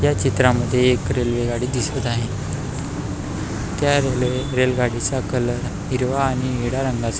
ह्या चित्रामध्ये एक रेल्वे गाडी दिसत आहे त्या रेल्वे रेल गाडीचा कलर हिरवा आणि निळ्या रंगाचा--